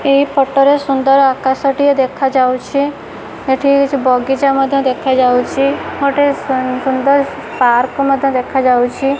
ଏହି ଫୋଟୋ ରେ ସୁନ୍ଦର ଆକାଶ ଟିଏ ଦେଖାଯାଉଛି ଏଠି କିଛି ବଗିଚା ମଧ୍ଯ ଦେଖାଯାଉଛି ଗୋଟେ ସୁ ସୁନ୍ଦର ପାର୍କ ମଧ୍ଯ ଦେଖାଯାଉଛି।